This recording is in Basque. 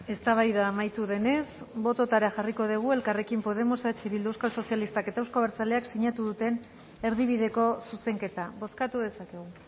eztabaida amaitu denez botoetara jarriko dugu elkarrekin podemos eh bildu euskal sozialistak eta euzko abertzaleak sinatu duten erdibideko zuzenketa bozkatu dezakegu